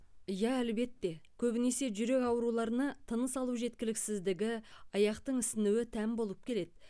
иа әлбетте көбінесе жүрек ауруларына тыныс алу жеткіліксіздігі аяқтың ісінуі тән болып келеді